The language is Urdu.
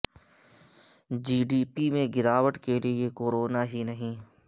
جی ڈی پی میں گراوٹ کیلئے کورونا ہی نہیں